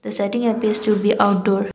setting appears to be outdoor.